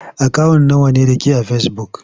Akawun nawa ne da ke a fesibuk?